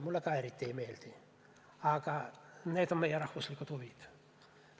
Mulle ka eriti ei meeldi, aga need on meie rahvuslikud huvid.